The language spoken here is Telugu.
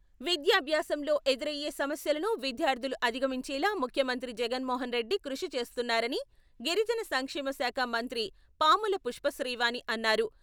విద్యాభ్యాసంలో ఎదురయ్యే సమస్యలను విద్యార్థులు అధిగమించేలా ముఖ్యమంత్రి జగన్మోహన్ రెడ్డి కృషి చేస్తున్నారని గిరిజన సంక్షేమ శాఖ మంత్రి పాముల పుష్పశ్రీవాణి అన్నారు.